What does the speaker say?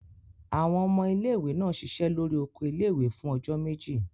Àwọn ọmọ ilé-ìwé náà ṣiṣẹ́ lórí oko ilé-ìwé fún ọjọ́ méjì.